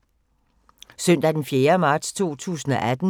Søndag d. 4. marts 2018